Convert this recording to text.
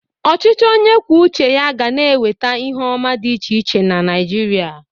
Ọchịchị onye kwuo ụche ya ga na-eweta ihe ọma dị iche iche na Naịjirịa.